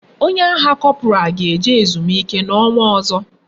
Onye agha corporal ga eje ezumike na onwa ozo